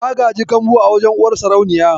Ta gaji kambu a wajen uwar sarauniya.